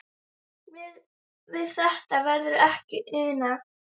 Við það verður ekki unað